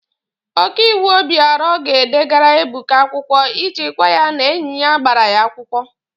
Okaiwu Obịọra ga-edegara Ebuka akwụkwọ iji gwa ya na enyi ya gbara ya akwụkwọ.